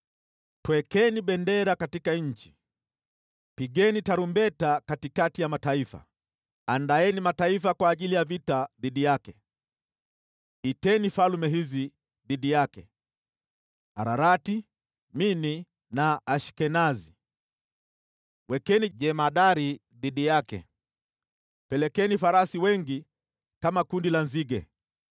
“Twekeni bendera katika nchi! Pigeni tarumbeta katikati ya mataifa! Andaeni mataifa kwa ajili ya vita dhidi yake, iteni falme hizi dhidi yake: Ararati, Mini na Ashkenazi. Wekeni jemadari dhidi yake, pelekeni farasi wengi kama kundi la nzige.